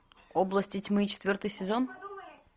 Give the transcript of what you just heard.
области тьмы четвертый сезон